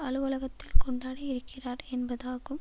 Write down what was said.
அலுவலகத்தில் கொண்டாட இருக்கிறார் என்பதும் ஆகும்